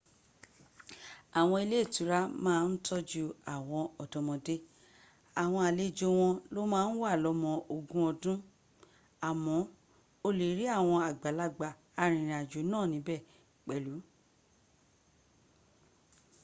àwọn ilé ìtura ma ń tọ́jú àwọn ọ̀dọ́mọdé- àwọn àlejò wọn ló ma ń wà lọ́mọ ogún ọdún- àmọ́ o lè rí àwọn àgbàlagbà arìnrìnàjò náà níbẹ̀ pẹ̀lu